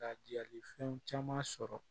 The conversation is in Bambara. Ka diyali fɛn caman sɔrɔ